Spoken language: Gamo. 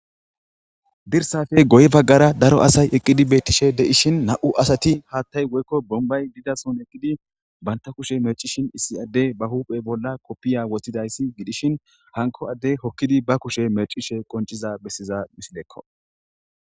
Dirsape guye bagara daro eqidi betishe de'ishn nam'u asati hathayo woykon bombayi dizason eqidi banta kushe mecishin issi adey ba huphe bolla kopiya wothidaysi gidishn hanko adey hokida ba kushe mecishe qonciza besiza misileko